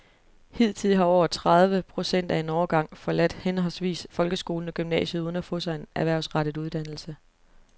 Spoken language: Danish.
Hidtil har over tredive procent af en årgang forladt henholdsvis folkeskolen og gymnasiet uden at få sig en erhvervsrettet uddannelse.